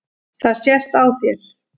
Það sést á þér